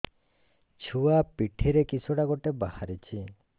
ଛୁଆ ପିଠିରେ କିଶଟା ଗୋଟେ ବାହାରିଛି